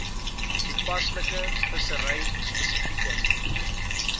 toepaslike vissery spesifieke